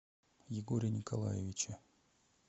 егоре николаевиче